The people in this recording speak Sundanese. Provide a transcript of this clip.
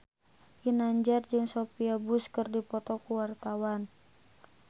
Ginanjar jeung Sophia Bush keur dipoto ku wartawan